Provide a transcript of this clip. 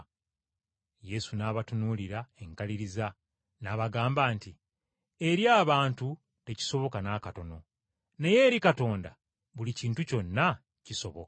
Yesu n’abatunuulira enkaliriza n’abaddamu nti, “Eri abantu tekiyinzika. Naye eri Katonda, buli kintu kyonna kisoboka.”